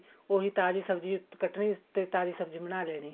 ਉਹੀ ਤਾਜ਼ੀ ਸਬ੍ਜ਼ੀ ਕੱਟਣੀ ਤੇਤਾਜ਼ੀ ਸਬ੍ਜ਼ੀ ਬਣਾ ਲੈਣੀ